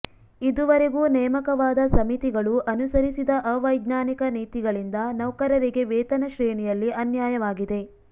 ಇದುವರೆಗೂ ನೇಮಕವಾದ ಸಮಿತಿಗಳು ಅನುಸರಿಸಿದ ಅವೈಜ್ಞಾನಿಕ ನೀತಿಗಳಿಂದ ನೌಕರರಿಗೆ ವೇತನ ಶ್ರೇಣಿಯಲ್ಲಿ ಅನ್ಯಾಯವಾಗಿದೆ